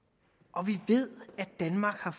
og vi ved at danmark har